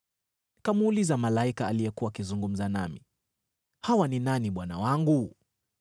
Nikamuuliza malaika aliyekuwa akizungumza nami, “Hawa ni nani bwana wangu?”